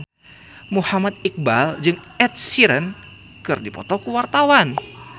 Muhammad Iqbal jeung Ed Sheeran keur dipoto ku wartawan